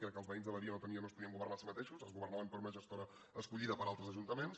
crec que els veïns de badia no es podien governar a si mateixos es governaven per una gestora escollida per altres ajuntaments